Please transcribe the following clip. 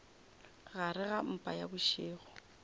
gare ga mpa ya bošego